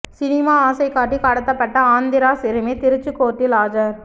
cinema ஆசை காட்டி கடத்தப்பட்ட ஆந்திரா சிறுமி திருச்சி கோர்ட்டில் ஆஜர்